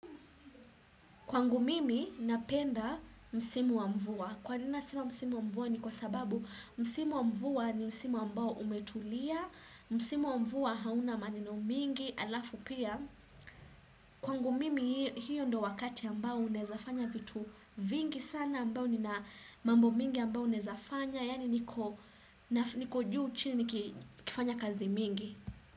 Kwangu mimi napenda msimu wa mvua. Kwa nina nasema msimu wa mvua ni kwa sababu msimu wa mvua ni msimu ambao umetulia, msimu wa mvua hauna maneno mingi, halafu pia. Kwangu mimi hiyo ndio wakati ambao unaweza fanya vitu vingi sana ambao nina mambo mingi ambao unawezafanya, yaani niko niko juu chini nikifanya kazi mingi.